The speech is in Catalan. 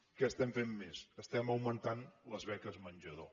què estem fent més estem augmentant les beques menjador